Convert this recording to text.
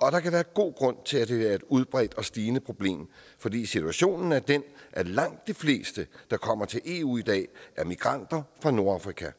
og der kan være god grund til at det er et udbredt og stigende problem fordi situationen er den at langt de fleste der kommer til eu i dag er migranter fra nordafrika